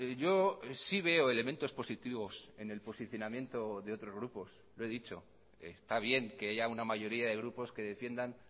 yo sí veo elementos positivos en el posicionamiento de otros grupos lo he dicho está bien que haya una mayoría de grupos que defiendan